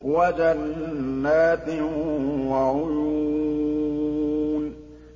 وَجَنَّاتٍ وَعُيُونٍ